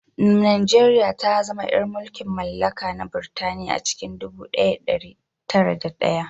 Najeriya ta zama ‘yar mulkin mallaka na Burtaniya a cikin ɗubu ɗaya da ɗari tara da ɗaya